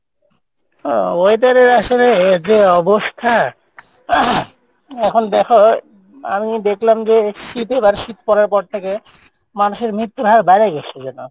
ও weather এর আসলে যে অবস্থা, এখন দেখো আমি দেখলাম যে শীত এবার শীত পরার পর থেকে, মানুষের মৃত্যুর হার বাড়ে গেসে যেনো।